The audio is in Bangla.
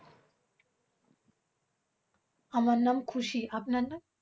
আমার নাম খুশি। আপনার নাম?